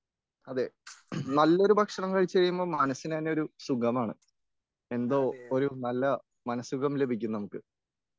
അതെ നല്ലൊരു ഭക്ഷണം കഴിച്ചു കഴിയുമ്പോ മനസ്സിന് തന്നെയൊരു നല്ല സുഖമാണ് എന്തോ ഒരു നല്ല മനസുഖം ലഭിക്കും നമുക്ക്.